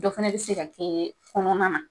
Dɔ fana bɛ se ka kɛ kɔnɔna na